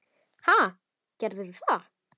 Ha, gerðu það.